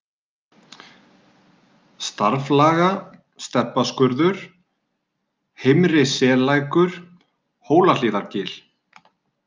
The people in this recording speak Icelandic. Starflaga, Stebbaskurður, Heimri-Sellækur, Hólahlíðargil